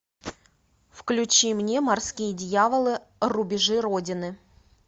включи мне морские дьяволы рубежи родины